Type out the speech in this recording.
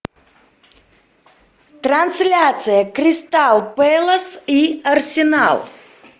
трансляция кристал пэлас и арсенал